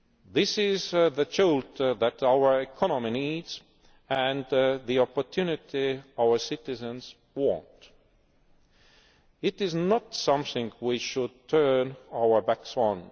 This is the jolt that our economy needs and the opportunity our citizens want. It is not something we should turn our backs